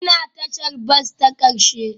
Ina tashar bas ta ƙarshe?